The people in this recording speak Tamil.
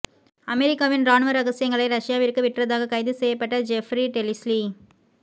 அமெரிக்காவின் ராணுவ ரகசியங்களை ரஷ்யாவிற்கு விற்றதாக கைது செய்யப்பட்ட ஜெஃப்றி டெலிஸ்லி